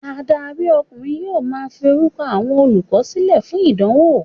Adarí ọkùnrin yóò ma fi orúkọ àwọn olùkọ́ sílẹ̀ fún ìdánwò.